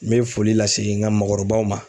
N bɛ foli lase n ka maakɔrɔbaw ma.